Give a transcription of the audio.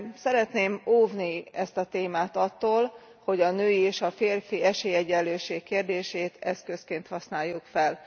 Szeretném óvni ezt a témát attól, hogy a női és a férfi esélyegyenlőség kérdését eszközként használjuk fel.